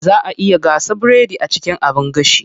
Zaa a iya gasa biredi a cikin abin gashi.